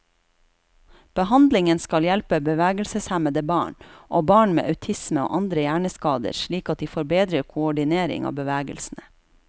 Behandlingen skal hjelpe bevegelseshemmede barn, og barn med autisme og andre hjerneskader slik at de får bedre koordinering av bevegelsene.